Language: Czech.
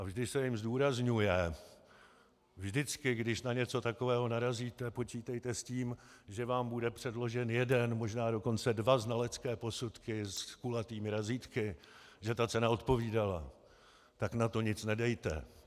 A vždy se jim zdůrazňuje: Vždycky když na něco takového narazíte, počítejte s tím, že vám bude předložen jeden, možná dokonce dva znalecké posudky s kulatými razítky, že ta cena odpovídala, tak na to nic nedejte.